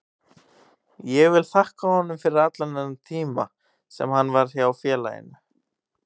Ég vil þakka honum fyrir allan þennan tíma sem hann var hjá félaginu.